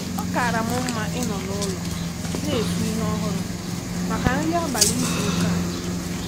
O kaara m mma ịnọ n’ụlọ na-esi ihe ọhụrụ maka nri abalị n’izu ụka dị jụụ.